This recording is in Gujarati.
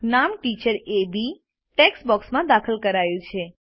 નામ ટીચર એ બી ટેક્સ્ટ બોક્સમાં દાખલ કરાયું છે